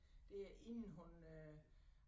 Dér inden hun øh